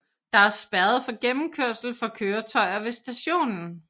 Der er spærret for gennemkørsel for køretøjer ved stationen